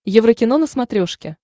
еврокино на смотрешке